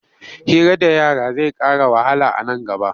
Hira da yara zai ƙara wahala a nan gaba.